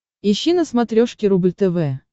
ищи на смотрешке рубль тв